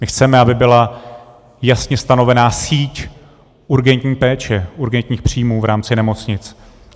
My chceme, aby byla jasně stanovena síť urgentní péče, urgentních příjmů v rámci nemocnic.